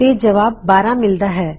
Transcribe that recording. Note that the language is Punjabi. ਤੇ ਜਵਾਬ 12 ਮਿਲਦਾ ਹੈ